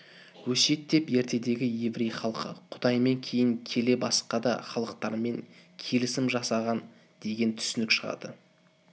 өсиет деп ертедегі еврей халқы құдаймен кейін келе баска да халықтармен келісім жасаған деген түсініктен шығады